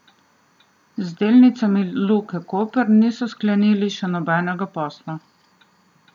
Z delnicami Luke Koper niso sklenili še nobenega posla.